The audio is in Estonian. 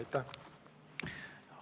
Aitäh!